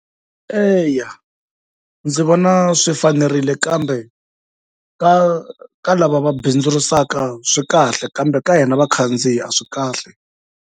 Eya ndzi vona swi fanerile kambe ka ka lava va bindzurisaka swi kahle kambe ka hina vakhandziyi a swi kahle.